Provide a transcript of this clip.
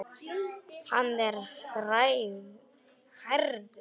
Hann er hærður.